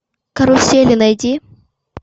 карусели найди